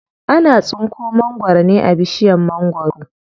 Ana tsinko mangwaro ne a bishiyar mangwaro.